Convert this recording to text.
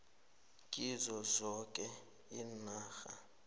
kizo zoke iinarha